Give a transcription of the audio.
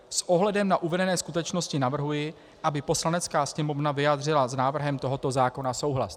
S ohledem na uvedené skutečnosti navrhuji, aby Poslanecká sněmovna vyjádřila s návrhem tohoto zákona souhlas.